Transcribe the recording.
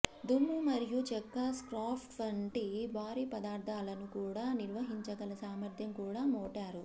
దుమ్ము మరియు చెక్క స్క్రాప్స్ వంటి భారీ పదార్థాలను కూడా నిర్వహించగల సామర్థ్యం కూడా మోటారు